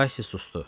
Kasi susdu.